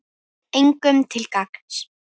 Engum til gagns.